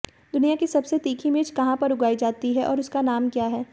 दुनिया की सबसे तीखी मिर्च कहां पर उगाई जाती है और उसका नाम क्या है